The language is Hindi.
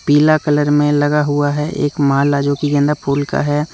पीला कलर में लगा हुआ है एक माला जो की के गेंदा फूल का है।